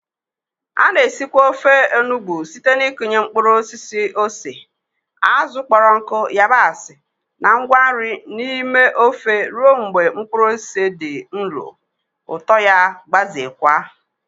A na-esikwa ofe Ofe enugbe site n'ịkụnye mkpụrụ osisi ose, azụ̀ kpọrọ nkụ, yabasị, na ngwa nri n'ime ofe ruo mgbe mkpụrụ ose dị nro, ụtọ ya gbazeekwa.